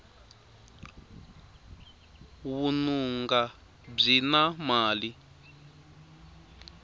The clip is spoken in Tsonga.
vununga byi na mali